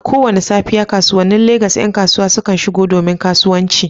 A kowace safiya, kasuwannin Legas ƴan kasuwa sukan shigo domin kasuwanci.